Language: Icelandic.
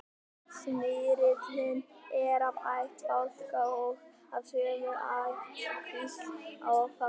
smyrillinn er af ætt fálka og af sömu ættkvísl og fálkinn